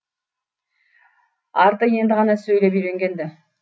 арты енді ғана сөйлеп үйренген ді